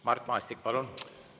Mart Maastik, palun!